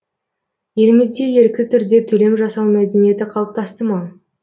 елімізде ерікті түрде төлем жасау мәдениеті қалыптасты ма